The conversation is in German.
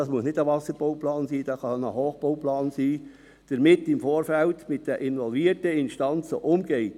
das muss nicht ein Wasserbauplan sein, sondern es könnte auch ein Hochbauplan sein – im Vorfeld mit den involvierten Instanzen umgeht.